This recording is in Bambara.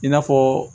I n'a fɔ